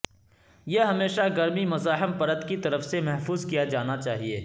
یہ ہمیشہ گرمی مزاحم پرت کی طرف سے محفوظ کیا جانا چاہئے